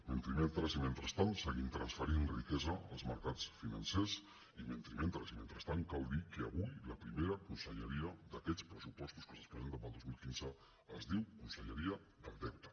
men·trimentres i mentrestant seguim transferint riquesa als mercats financers i mentrimentres i mentrestant cal dir que avui la primera conselleria d’aquests pressu·postos que se’ns presenten per al dos mil quinze es diu conselle·ria del deute